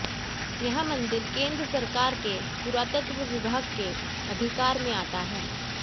यह मंदिर केंद्र सरकारके पुरातत्त्व विभागके अधिकारमें आता है